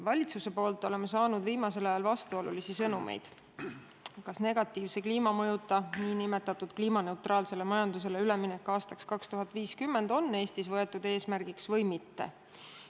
Valitsuselt oleme saanud viimasel ajal vastuolulisi sõnumeid, kas negatiivse kliimamõjuta, nn kliimaneutraalsele majandusele üleminek aastaks 2050 on Eestis võetud eesmärgiks või mitte.